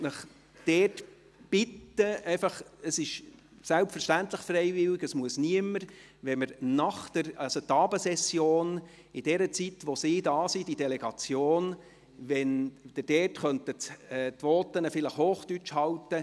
Ich möchte Sie diesbezüglich bitten – selbstverständlich ist es freiwillig und für niemanden ein Muss –, Ihre Voten während der Abendsession, während der Besuch aus Niedersachsen hier ist, auf Hochdeutsch zu halten.